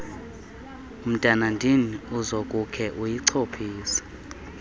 mntanandini uzakukhe uyichophise